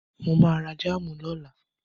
Mo ma ra jáàmù lọ́la